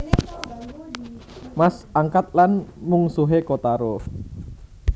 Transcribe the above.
Mas angkat lan mungsuhé Kotaro